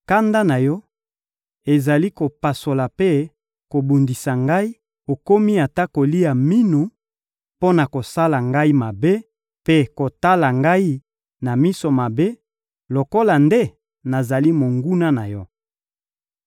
Kanda na Yo ezali kopasola mpe kobundisa ngai, okomi ata kolia minu mpo na kosala ngai mabe mpe kotala ngai na miso mabe lokola nde nazali monguna na yo.